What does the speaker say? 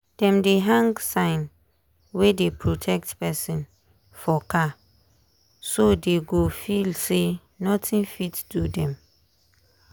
dem dey hang sign wey dey protect person for car so dey go feel say nothing fit do dem.